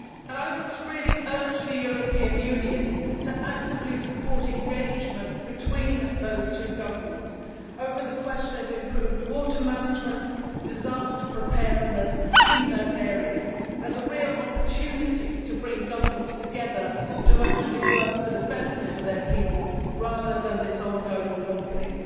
I really want to urge the European Union to actively support engagement between those two governments over the questions of improved water management and disaster preparedness in that area. This is a real opportunity to bring governments together to actually work for the benefit of their people, rather than pursuing this ongoing conflict.